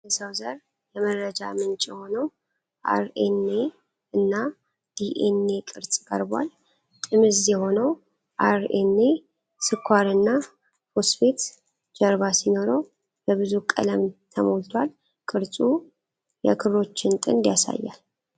የሰው ዘር የመረጃ ምንጭ የሆነው አር.ኤን.ኤ እና ዲ.ኤን.ኤ ቅርጽ ቀርቧል፡፡ ጥምዝ የሆነው አር.ኤን.ኤ ስኳርና ፎስፌት ጀርባ ሲኖረው በብዙ ቀለም ተሞልቷል፡፡ ቅርጹ የክሮችን ጥንድ ያሳያል፡፡